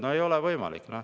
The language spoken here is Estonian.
No ei ole võimalik.